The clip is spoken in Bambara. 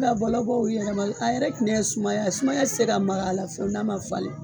La bɔlɔ bɔ u yɛrɛ ma a yɛrɛ tinɛ sumaya ye sumaya tɛ se ka maga a la fewu n'a ma falen